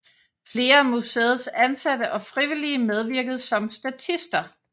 Flere af museets ansatte og frivillige medvirkede som statister